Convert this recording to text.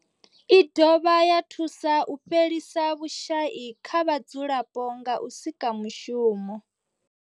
I dovha ya thusa u fhelisa vhushayi kha vhadzulapo nga u sika mishumo.